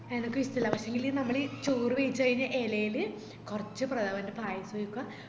എനക്കുഷ്ടല്ല പക്ഷേങ്കില് നമ്മള് ചോറ് വെയിച്ചകയിഞ്ഞ എലെല് കൊർച് പ്രഥമന്റെ പായസം ഒഴിക്കുവ